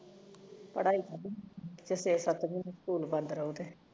ਪੜਾਈ ਕਰਲੀ ਕਿ ਛੇ ਸਤ ਮਹੀਨੇ ਸਕੂਲ ਬੰਦ ਰਹੂੰ